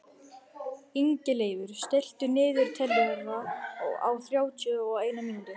Ingileifur, stilltu niðurteljara á þrjátíu og eina mínútur.